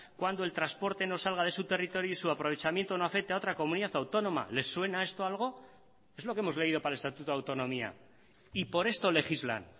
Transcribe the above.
cuando el transporte no salga de su territorio y su aprovechamiento no afecta a otra comunidad autónoma le suena esto a algo es lo que hemos leído para el estatuto de autonomía y por esto legislan